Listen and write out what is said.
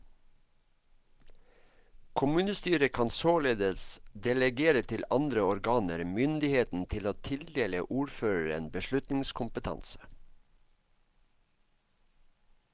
Kommunestyret kan således delegere til andre organer myndigheten til å tildele ordføreren beslutningskompetanse.